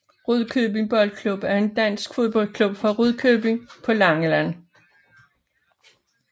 Rudkøbing Boldklub er en dansk fodboldklub fra Rudkøbing på Langeland